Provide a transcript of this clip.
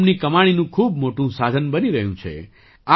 તે તેમની કમાણીનું ખૂબ મોટું સાધન બની રહ્યું છે